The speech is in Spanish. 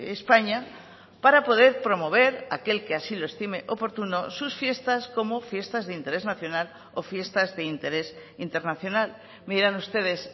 españa para poder promover aquel que así lo estime oportuno sus fiestas como fiestas de interés nacional o fiestas de interés internacional me dirán ustedes